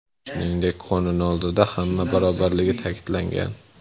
Shuningdek, qonun oldida hamma barobarligi ta’kidlangan.